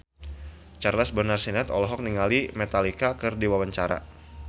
Charles Bonar Sirait olohok ningali Metallica keur diwawancara